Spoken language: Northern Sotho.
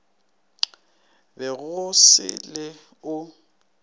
be go se le o